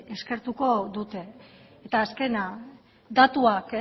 eskertuko dute eta azkena datuak